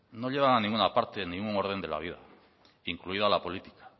no llevan a ninguna parte en ningún orden de la vida incluida la política